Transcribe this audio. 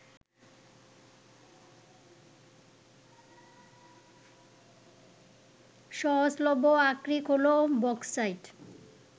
সহজলভ্য আকরিক হলো বক্সাইট